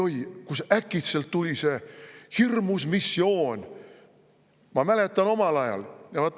Oi-oi, kus äkitselt tuli see hirmus missioon!